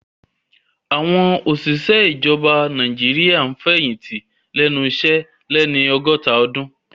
Àwọn òṣìṣẹ́ ìjọba Nàìjíríà ń fẹ̀yìntì lẹ́nu iṣẹ́ lẹ́ni ọgọ́ta ọdún